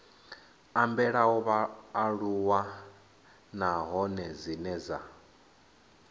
ambelaho vhaaluwa nahone dzine dza